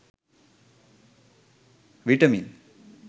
vitamin